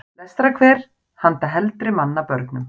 Lestrarkver handa heldri manna börnum.